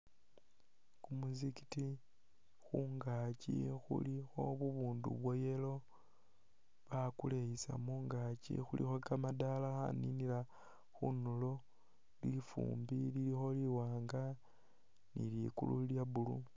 Kumuzigiti khungaki khulikho bubundu bwa yellow bukuleyisam mungaki khulikho kamadaala kaninila khundulo lifumbi lilikho liwaanga ni liguulu lyablue